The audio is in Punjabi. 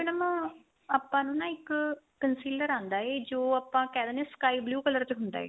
madam ਆਪਾਂ ਨੂੰ ਨਾ ਇੱਕ conciliar ਆਂਦਾ ਏ ਜੋ ਆਪਾਂ ਕਹਿ ਦਿੰਨੇ ਆ sky blue color ਚ ਹੁੰਦਾ ਏ